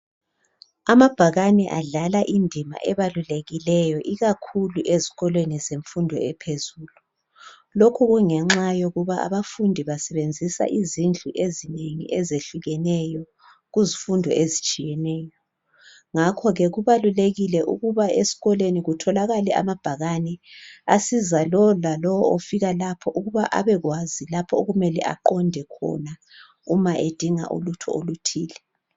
Amabhakane adlala indima ebalulekileyo ikukakhulu ezikolweni zemfundo eyebanga eliphezulu ngoba abafundi basebenzisa izindlu ezitshiyeneyo ngezifundo ezitshiyeneyo ngakho kubalulekile ukuthi kubelamabhakane ukuze abelusizo nxa bedinga ulutho oluthile.